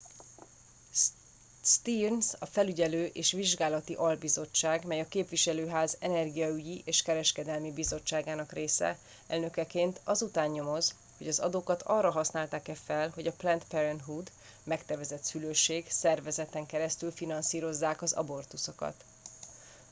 stearns a felügyelő és vizsgálati albizottság - mely a képviselőház energiaügyi és kereskedelmi bizottságának része - elnökeként az után nyomoz hogy az adókat arra használták-e fel hogy a planned parenthood megtervezett szülőség szervezeten keresztül finanszírozzák az abortuszokat